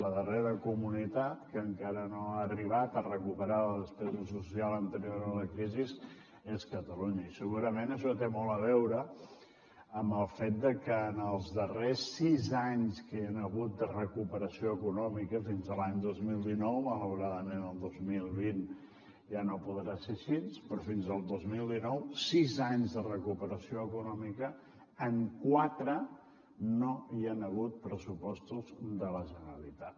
la darrera comunitat que encara no ha arribat a recuperar la despesa social anterior a la crisi és catalunya i segurament això té molt a veure amb el fet de que en els darrers sis anys que hi han hagut de recuperació econòmica fins a l’any dos mil dinou malauradament el dos mil vint ja no podrà ser així però fins al dos mil dinou sis anys de recuperació econòmica en quatre no hi han hagut pressupostos de la generalitat